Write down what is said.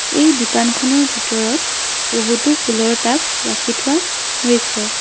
এই দোকানখনৰ ভিতৰত বহুতো ফুলৰ টাব ৰাখি থোৱা হৈছে